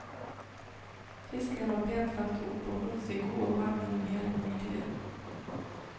Fisken var pent lagt opp og holdt seg god og varm gjennom hele måltidet.